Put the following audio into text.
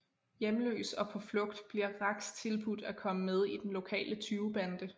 Hjemløs og på flugt bliver Rax tilbudt at komme med i den lokale tyvebande